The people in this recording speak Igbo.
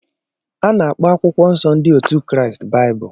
A na-akpọ akwụkwọ Nsọ ndị otu Kraịst Baịbụl.